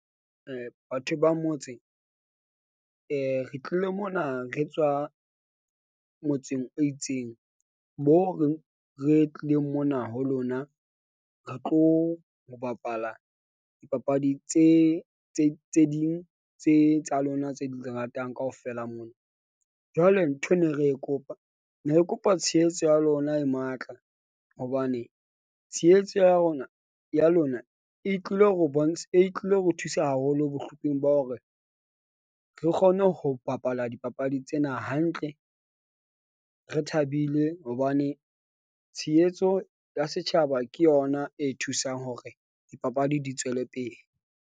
Batho ba motse re tlile mona re tswa motseng o itseng moo re re tlileng mona ho lona, re tlo ho bapala dipapadi tse tse tse ding tse tsa lona, tse le di ratang kaofela mona. Jwale ntho ne re kopa ne re kopa tshehetso ya lona e matla hobane tshehetso ya rona ya lona e tlile ho e tlile ho thusa haholo bohlokweng ba hore re kgone ho bapala dipapadi tsena hantle, re thabile hobane tshehetso ya setjhaba ke yona e thusang hore dipapadi di tswele pele.